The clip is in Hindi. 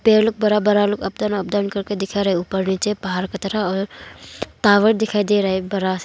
पेड़ बड़ा बड़ा करके दिखा रहा है ऊपर नीचे पहाड़ की तरह और टावर दिखाई दे रहा है एक बड़ा स--